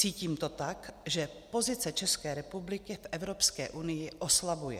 Cítím to tak, že pozice České republiky v Evropské unii oslabuje.